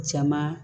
Caman